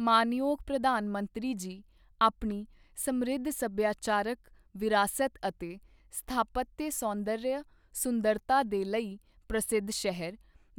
ਮਾਣਯੋਗ ਪ੍ਰਧਾਨ ਮੰਤਰੀ ਜੀ ਆਪਣੀ ਸਮ੍ਰਿੱਧ ਸੱਭਿਆਚਾਰਕ ਵਿਰਾਸਤ ਅਤੇ ਸਥਾਪਤਯ ਸੌਂਦਰਯ ਸੁੰਦਰਤਾ ਦੇ ਲਈ ਪ੍ਰਸਿੱਧ ਸ਼ਹਿਰ